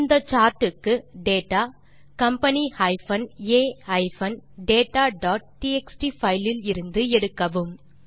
இந்த சார்ட் க்கு data company a dataடிஎக்ஸ்டி பைல் இலிருந்து எடுக்கவும்